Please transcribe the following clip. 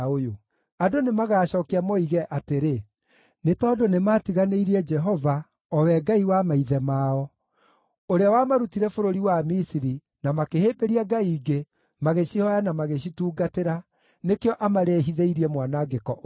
Andũ nĩmagacookia moige, atĩrĩ, ‘Nĩ tondũ nĩmatiganĩirie Jehova, o we Ngai wa maithe mao, ũrĩa wamarutire bũrũri wa Misiri, na makĩhĩmbĩria ngai ingĩ, magĩcihooya na magĩcitungatĩra, nĩkĩo amarehithĩirie mwanangĩko ũyũ wothe.’ ”